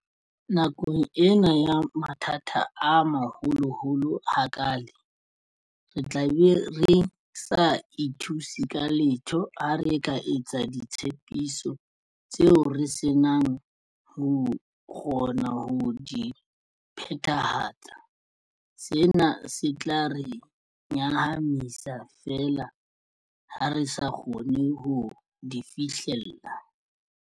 Nakong ena ya mathata a maholoholo ha kaale, re tlabe re sa ithuse ka letho ha re ka etsa ditshepiso tseo re senang ho kgona ho di phethahatsa, sena se tla re nyahamisa feela ha re sa kgone ho di fihlella.